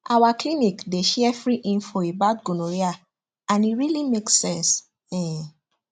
our clinic dey share free info about gonorrhea and e really make sense um